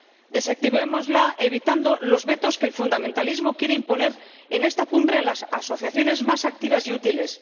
Desactivémosla evitando los vetos que el fundamentalismo quiere imponer en esta cumbre a las asociaciones más activas y útiles